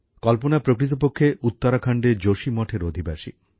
কল্পনা প্রকৃতপক্ষে উত্তরাখণ্ডের যোশী মঠের অধিবাসী